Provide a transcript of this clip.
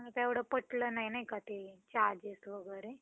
मला एवढं पटलं नाही का ते charges वगैरे.